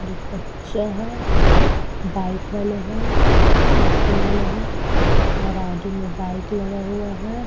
एक बच्चा है। बाइक वाले हैं। एक साइकिल वाले हैं और आगे में बाइक लगा हुआ है।